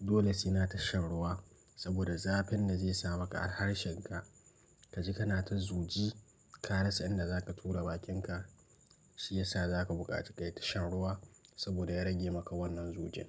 dole suna tashan ruwa saboda zafin da zai samu ka harshen ka. Kaji kana ta zuji, ka rasa inda zaka tura bakinka, shi yasa zaka buƙaci kayi ta shan ruwa saboda ya rage maka wannan zogin.